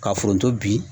Ka foronto bi